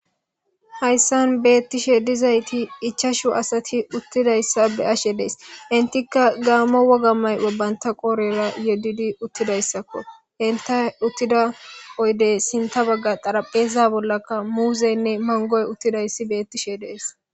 Hayssan beettishe dizayti ichashu asati uttidayssa be ashe dees intikka gaammo woga may o banta qoorera yodidi uttidayssakko enta uttida qoydey sinta bagga xarapheza bollaka muuzeynne mangoy uttidayssi beettishe dees